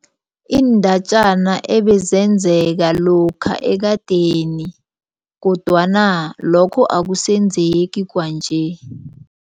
Iindatjana ebezenzeka lokha ekadeni kodwana lokho akusenzeki kwanje.